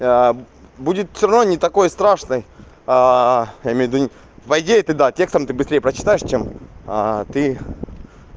будет всё равно не такой страшной я имею ввиду по идее ты да текст там ты быстрей прочитаешь чем ты